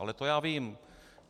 Ale to já vím.